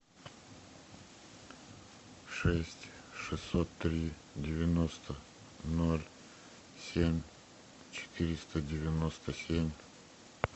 шесть шестьсот три девяносто ноль семь четыреста девяносто семь